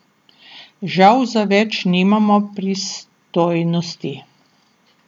Žal za več nimamo pristojnosti.